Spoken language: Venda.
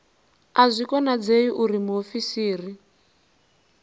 a zwi konadzei uri muofisiri